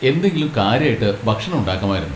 എന്തെങ്കിലും കാര്യായിട്ട് ഭക്ഷണം ഉണ്ടാക്കാമായിരുന്നു.